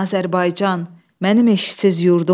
Azərbaycan, mənim eşqsiz yurdum oy,